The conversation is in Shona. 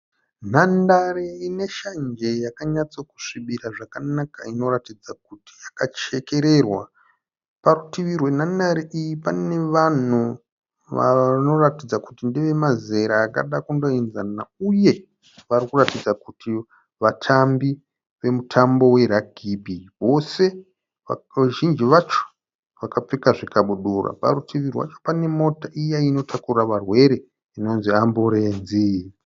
Nhandare ineshanje yakanyatsokusvibira zvakanaka yakachekererwa. Parutivi rwenhandare iyi pane vanhu vanoratidza kuti ndeve mazera akada kundoenzana uye varikuratidza kuti vatambi vemutambo weragibhi vose vazhinji vacho vakapfeka zvikabudura. Parutivi rwacho panemota iya inotakura varwere inonzi amburenzi